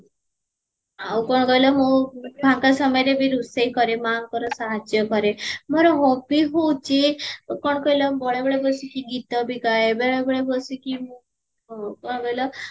ଆଉ କଣ କହିଲ ମୁଁ ଫାଙ୍କ ସମୟରେ ବି ରୋଷେଇ କରେ ମାଙ୍କର ସାହାଯ୍ୟ କରେ ମୋର hobby ହଉଚି କଣ କହିଲା ବଳେ ବଳେ ବସିକି ଗୀତା ବି ଗାଏ ବେଳେ ବେଳେ ବସିକି ମୁଁ କଣ କହିଲ